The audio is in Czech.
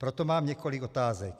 Proto mám několik otázek.